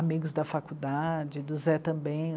Amigos da faculdade, do Zé também